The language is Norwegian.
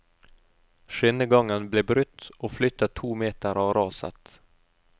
Skinnegangen ble brutt og flyttet to meter av raset.